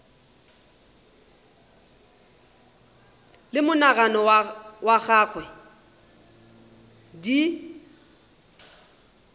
le monagano wa gagwe di